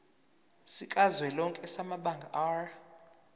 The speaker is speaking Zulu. sikazwelonke samabanga r